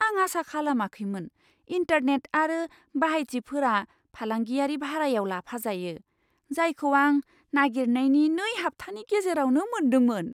आं आसा खालामाखैमोन, इन्टारनेट आरो बाहायथिफोरा फालांगियारि भारायाव लाफाजायो, जायखौ आं नागिरनायनि नै हाब्थानि गेजेरावनो मोन्दोंमोन!